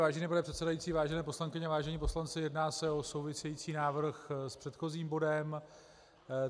Vážený pane předsedající, vážené poslankyně, vážení poslanci, jedná se o související návrh s předchozím bodem.